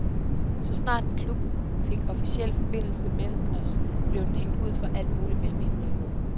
Så snart en klub fik officiel forbindelse med os, blev den hængt ud for alt muligt mellem himmel og jord.